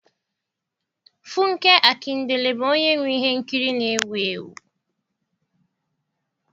funke Akindele bụ onye nwe ihe nkiri na-ewu ewu.